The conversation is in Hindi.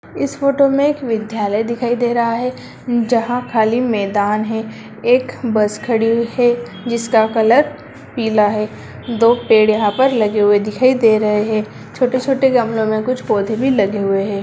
इस फोटो में एक विद्यालय दिखाई दे रहा है जहाँ खाली मैदान है एक बस खड़ी हुई है जिसका कलर पीला है दो पेड़ यहाँ पर लगे हुए दिखाई दे रहे हैं छोटे-छोटे गमलों में कुछ पौधे भी लगे हुए हैं।